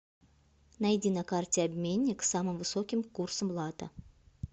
найди на карте обменник с самым высоким курсом лата